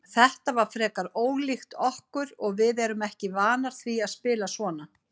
Þetta var frekar ólíkt okkur og við erum ekki vanar því að spila svona.